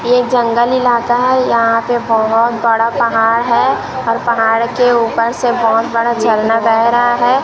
ये जंगल इलाका है यहां पे बहोत बड़ा पहाड़ है और पहाड़ के ऊपर से बहोत बड़ा झरना बह रहा है।